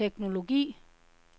teknologi